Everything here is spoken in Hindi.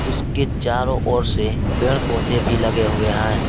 उसके चारों ओर से पेड़ पौधे भी लगे हुए है।